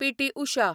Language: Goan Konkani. पी.टी. उशा